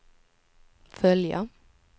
följa